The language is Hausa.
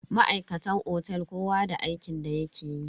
Ma'aikatan otel kowa da aikin da yake yi.